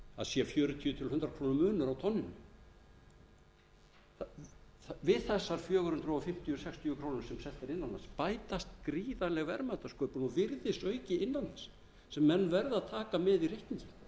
sé fjörutíu til hundrað króna munur á tonninu við þessar fjögur hundruð fimmtíu til fjögur hundruð sextíu krónur sem selt er innan lands bætist gríðarleg verðmætasköpun og virðisauki innan lands sem menn verða að taka með í reikninginn það